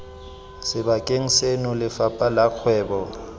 sebakeng seno lefapha la kgwebo